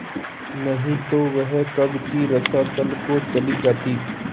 नहीं तो वह कब की रसातल को चली जाती